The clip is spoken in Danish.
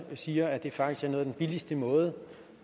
siger at det faktisk er en af de billigste måder